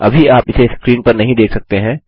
अभी आप इसे स्क्रीन पर नहीं देख सकते हैं